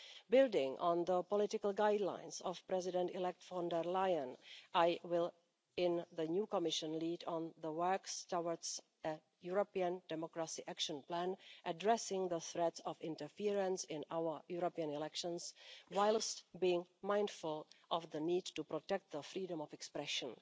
Building on the political guidelines of President elect von der Leyen, I will in the new Commission lead on the work towards a European democracy action plan addressing the threat of interference in our European elections, whilst being mindful of the need to protect the freedom of expression.